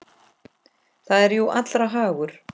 Það er jú allra hagur.